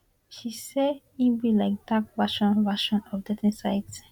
she say e be like dark version version of dating site